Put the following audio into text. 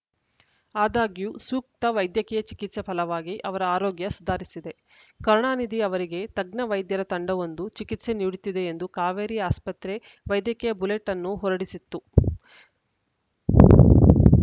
ಆದಾಗ್ಯೂ ಸೂಕ್ತ ವೈದ್ಯಕೀಯ ಚಿಕಿತ್ಸೆ ಫಲವಾಗಿ ಅವರ ಆರೋಗ್ಯ ಸುಧಾರಿಸಿದೆ ಕರುಣಾನಿಧಿ ಅವರಿಗೆ ತಜ್ಞ ವೈದ್ಯರ ತಂಡವೊಂದು ಚಿಕಿತ್ಸೆ ನೀಡುತ್ತಿದೆ ಎಂದು ಕಾವೇರಿ ಆಸ್ಪತ್ರೆ ವೈದ್ಯಕೀಯ ಬುಲೆಟ್‌ ಅನ್ನು ಹೊರಡಿಸಿತ್ತು